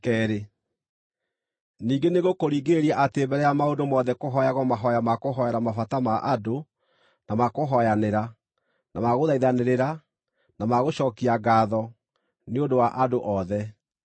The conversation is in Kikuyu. Ningĩ, nĩngũkũringĩrĩria atĩ mbere ya maũndũ mothe kũhooyagwo mahooya ma kũhoera mabata ma andũ na makũhooyanĩra, na ma gũthaithanĩrĩra, na ma gũcookia ngaatho, nĩ ũndũ wa andũ othe: